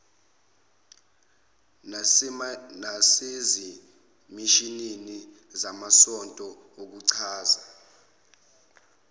nasezimishini zamasonto nokuchaza